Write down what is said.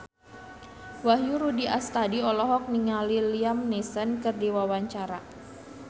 Wahyu Rudi Astadi olohok ningali Liam Neeson keur diwawancara